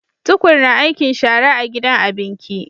Tukur na aikin shara a gidan abinki